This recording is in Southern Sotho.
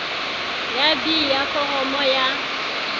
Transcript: ya b ya foromo ya